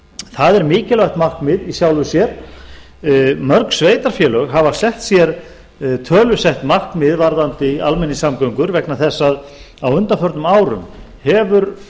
það er mikilvægt markmið í sjálfu sér mörg sveitarfélög hafa sett sér tölusett markmið varðandi almenningssamgöngur vegna þess að á undanförnum árum hefur